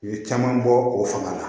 U ye caman bɔ o fanga la